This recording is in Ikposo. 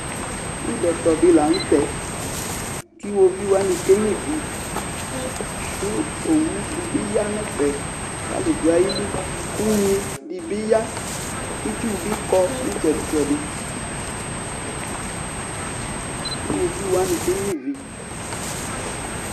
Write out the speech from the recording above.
Ɩbɛtɔ dɩ la nʋ tɛ, kʋ iɣoviu wanɩ kenyuǝ ivi, kʋ owu dɩ bɩ ya nʋ ɛfɛ kʋ alʋ dʋ ayili, kʋ unyi dɩ bɩ ya, kʋ itsu bɩ kɔ nʋ ɩtsɛdɩ-ɩtsɛdɩ, kʋ iɣoviu wanɩ kenyuǝ ivi